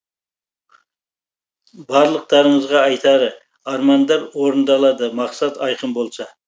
барлықтарыңызға айтары армандар орындалады мақсат айқын болса